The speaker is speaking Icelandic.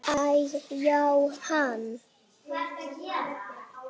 Æ-já, hann.